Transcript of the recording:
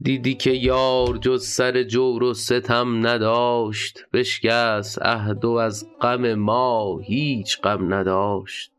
دیدی که یار جز سر جور و ستم نداشت بشکست عهد وز غم ما هیچ غم نداشت